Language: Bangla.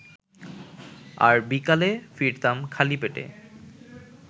আর বিকালে ফিরতাম খালি পেটে